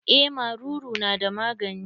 Eh maruru na da magani.